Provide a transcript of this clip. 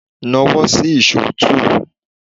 Na wọ́ sí ìṣó túù!